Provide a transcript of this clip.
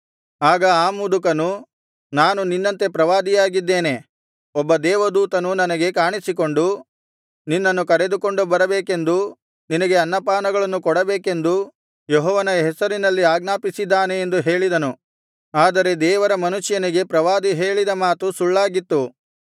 ಆಗ ಆ ಮುದುಕನು ನಾನು ನಿನ್ನಂತೆ ಪ್ರವಾದಿಯಾಗಿದ್ದೇನೆ ಒಬ್ಬ ದೇವದೂತನು ನನಗೆ ಕಾಣಿಸಿಕೊಂಡು ನಿನ್ನನ್ನು ಕರೆದುಕೊಂಡು ಬರಬೇಕೆಂದೂ ನಿನಗೆ ಅನ್ನಪಾನಗಳನ್ನು ಕೊಡಬೇಕೆಂದೂ ಯೆಹೋವನ ಹೆಸರಿನಲ್ಲಿ ಆಜ್ಞಾಪಿಸಿದ್ದಾನೆ ಎಂದು ಹೇಳಿದನು ಆದರೆ ದೇವರ ಮನುಷ್ಯನಿಗೆ ಪ್ರವಾದಿ ಹೇಳಿದ ಮಾತು ಸುಳ್ಳಾಗಿತ್ತು